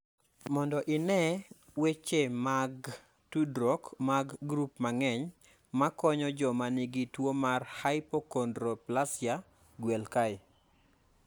Mondo ine weche mag tudruok mag grup mang�eny ma konyo joma nigi tuo mar hypochondroplasia, gwel kae.